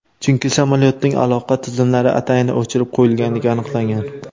Chunki samolyotning aloqa tizimlari atayin o‘chirib qo‘yilganligi aniqlangan.